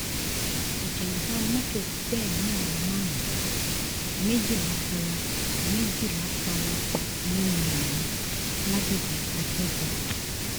ìjàḿbà mọ́tò gbẹ̀mí àwọn márùn-ún méjìlá fara méjìlá fara pa yánnayànna lágbègbè ajẹ́bọ